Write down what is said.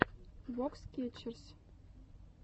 вокс кетчерз